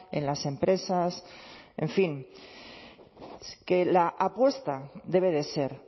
en las empresas en fin que la apuesta debe de ser